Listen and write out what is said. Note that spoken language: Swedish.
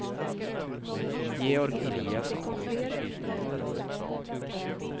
Georg Eliasson